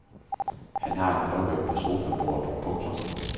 Han har en brevvægt på sofabordet. punktum